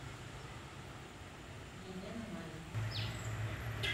елена мазина